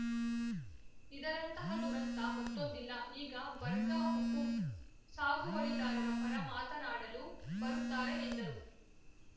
ಇದರಂತಹ ದುರಂತ ಮತ್ತೊಂದಿಲ್ಲ ಈಗ ಬರ್ಗ ಹುಕುಂ ಸಾಗುವಳಿದಾರರ ಪರ ಮಾತನಾಡಲು ಬರುತ್ತಾರೆ ಎಂದರು